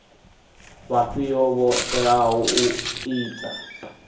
vhafhio vho teaho u ita